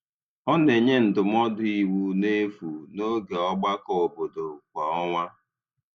Ọ na-enye ndụmọdụ iwu n’efu n’oge ọgbakọ obodo kwa ọnwa.